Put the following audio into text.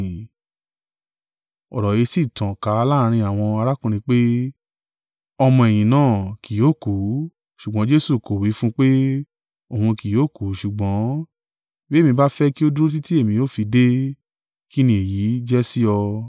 Ọ̀rọ̀ yìí sì tàn ká láàrín àwọn arákùnrin pé, ọmọ-ẹ̀yìn náà kì yóò kú, ṣùgbọ́n Jesu kò wí fún un pé, òun kì yóò kú; ṣùgbọ́n, “Bí èmi bá fẹ́ kí ó dúró títí èmi ó fi dé, kín ni èyí jẹ́ sí ọ?”